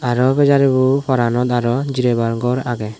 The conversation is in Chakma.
araw u pejaribu paranot araw jireybar gor agey.